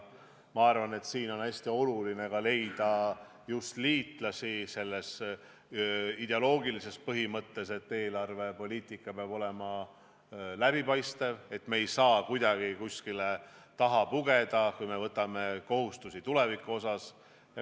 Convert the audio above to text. Ma arvan, et hästi oluline on leida liitlasi just sellele ideoloogilisele põhimõttele, et eelarvepoliitika peab olema läbipaistev – et me ei saaks kuhugi taha pugeda, kui võtame tulevikuks kohustusi.